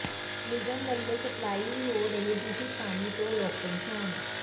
ਨਿਗਮ ਵੱਲੋਂ ਸਪਲਾਈ ਹੋ ਰਹੇ ਦੂਸ਼ਿਤ ਪਾਣੀ ਤੋਂ ਲੋਕ ਪ੍ਰੇ਼ਸਾਨ